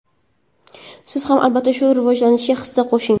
Siz ham albatta shu rivojlanishga hissa qo‘shing!